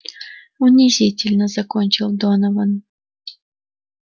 унизительно закончил донован